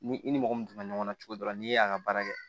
Ni i ni mɔgɔ min donna ɲɔgɔn na cogo dɔ la n'i y'a ka baara kɛ